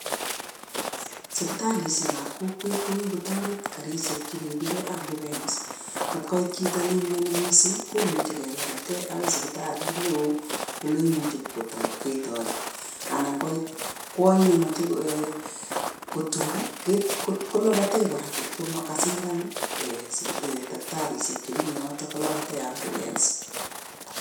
Sipitalishek ap kokwet ko kikotoret karishek chekekuree ambulance. Kot koit chito nemioni mising komuchi kelapatee agoi sipitalit neo ole imuche ketoret, anan koit kwony nemache kotum kolapatee kora. Ngot ko kasindan taktarisiek chemi yotok ko lapatee umbulance.